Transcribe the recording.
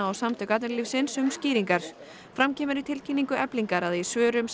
og Samtök atvinnulífsins um skýringar fram kemur í tilkynningu Eflingar að í svörum